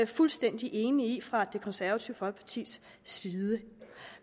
fuldstændig enige i fra det konservative folkepartis side